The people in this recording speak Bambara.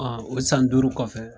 O san duuru kɔfɛ.